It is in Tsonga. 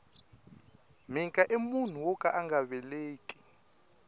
mhika i munhu woka anga veleki